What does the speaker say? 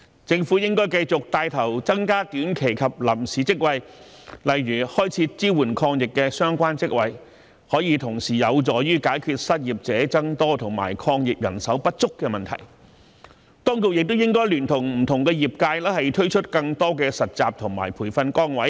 政府應該繼續帶頭增加短期及臨時職位，例如開設支援抗疫的相關職位，便可同時有助解決失業者增加及抗疫人手不足的問題；當局亦應該聯同不同業界推出更多實習及培訓崗位。